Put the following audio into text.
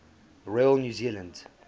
royal new zealand